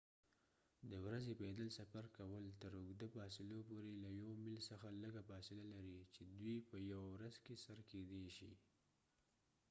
د ورځې پیدل سفر کول تر اوږده فاصلو پورې له یو میل څخه لږه فاصله لري چې دوی په یوه ورځ کې سر کیدی شي